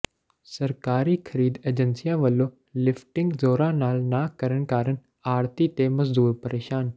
ਸਰਕਾਰੀ ਖਰੀਦ ਏਜੰਸੀਆਂ ਵੱਲੋਂ ਲਿਫਟਿੰਗ ਜ਼ੋਰਾਂ ਨਾਲ ਨਾ ਕਰਨ ਕਾਰਨ ਆੜ੍ਹਤੀ ਤੇ ਮਜ਼ਦੂਰ ਪ੍ਰੇਸ਼ਾਨ